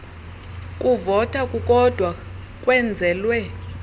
kuvota kukodwa kwenzelwe